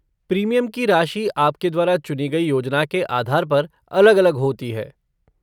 Premium की राशि आपके द्वारा चुनी गई योजना के आधार पर अलग अलग होती है।